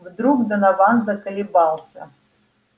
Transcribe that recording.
вдруг донован заколебался